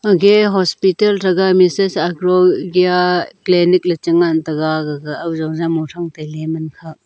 aghe hospital thaga mises agrolgya clenic ley chi ngan taiga gaga aujo jama thang tailey man khak.